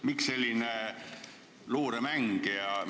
Miks selline luuremäng?